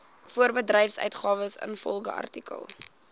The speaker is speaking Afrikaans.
voorbedryfsuitgawes ingevolge artikel